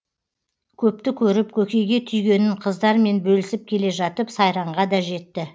көпті көріп көкейге түйгенін қыздармен бөлісіп келе жатып сайранға да жетті